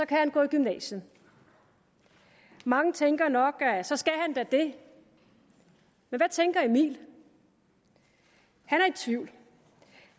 kan han gå i gymnasiet mange tænker nok at så skal han da det men hvad tænker emil i tvivl